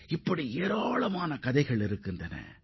இதுபோன்ற சம்பவங்கள் என்னற்றவை உள்ளன